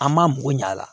An m'an bugu ɲaga la